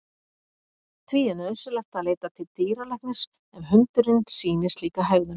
Því er nauðsynlegt að leita til dýralæknis ef hundurinn sýnir slíka hegðun.